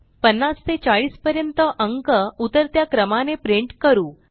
50 ते 40 पर्यंत अंक उतरत्या क्रमाने प्रिंट करू